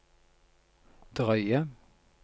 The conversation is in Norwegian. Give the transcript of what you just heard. drøye